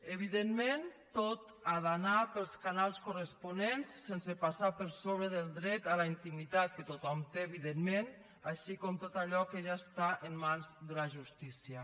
evidentment tot ha d’anar pels canals corresponents sense passar per sobre del dret a la intimitat que tothom té evidentment així com tot allò que ja està en mans de la justícia